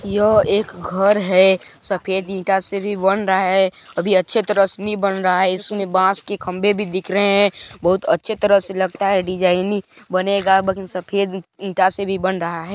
यह एक घर है सफेद ईटा से भी बन रहा है अभी अच्छे तरह से नहीं बन रहा है इसमें बांस की खंभे भी दिख रहे है बहुत अच्छे तरह से लगता है डिजाइनिंग बनेगा बाकी सफेद ईटा से भी बन रहा है।